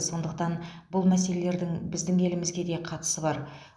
сондықтан бұл мәселелердің біздің елімізге де қатысы бар